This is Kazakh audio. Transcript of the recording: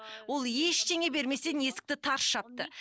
ол ештеңе берместен есікті тарс жапты